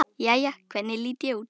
Jæja, hvernig lít ég út?